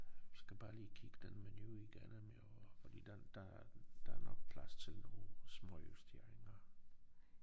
Skal bare lige kigge den menu igennem jo fordi den der er der er nok plads til nogle småjusteringer